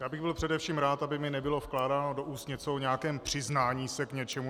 Já bych byl především rád, aby mi nebylo vkládáno do úst něco o nějakém přiznání se k něčemu.